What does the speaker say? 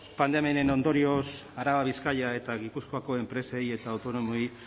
pandemiaren ondorioz araba bizkaia eta gipuzkoako enpresei eta autonomoei